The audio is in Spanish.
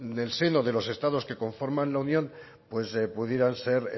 del seno de los estados que conforman la unión pues pudieran ser